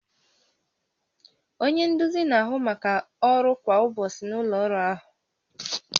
Onye nduzi na-ahụ maka ọrụ kwa ụbọchị na ụlọ ọrụ ahụ